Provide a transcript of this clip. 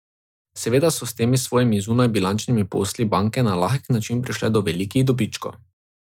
Seveda so s temi svojimi zunajbilančnimi posli banke na lahek način prišle do velikih dobičkov.